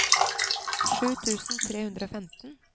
sju tusen tre hundre og femten